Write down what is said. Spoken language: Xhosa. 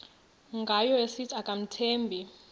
ngayo esithi akamthembi